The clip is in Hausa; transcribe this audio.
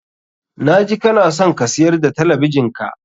Na ji kana son ka siyar da talabijin ka.